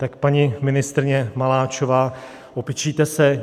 Tak paní ministryně Maláčová, opičíte se.